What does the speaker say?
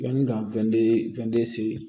Yanni ka weele se